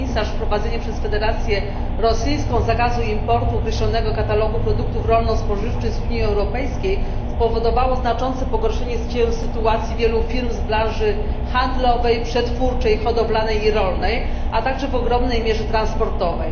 Wprowadzenie przez Federację Rosyjską zakazu importu określonego katalogu produktów rolno spożywczych z Unii Europejskiej spowodowało znaczące pogorszenie się sytuacji wielu firm z branży handlowej, przetwórczej, hodowlanej i rolnej, a także w ogromnej mierze transportowej.